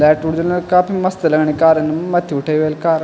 Light original काफी मस्त लगणी कारे मथ्थी उठेयी वेल कार ।